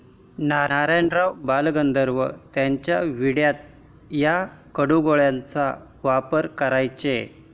नारायणराव बालगंधर्व त्यांच्या विड्यात या काटगोळ्यांचा वापर करायचे.